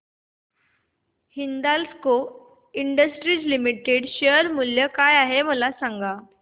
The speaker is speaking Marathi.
हिंदाल्को इंडस्ट्रीज लिमिटेड शेअर मूल्य काय आहे मला सांगा